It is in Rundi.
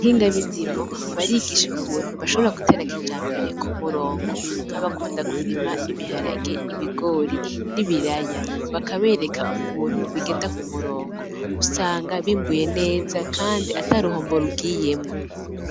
abahinga b'indimo barigisha ukuntu bashobora kugetera kijambere k'umurongo; nk'abakunda kurima ibiharage, ibigori, n'ibiraya. Bakabereka ukuntu bigenda k'umurongo, usanga bimbuye neza ataruhombo rugiyemwo.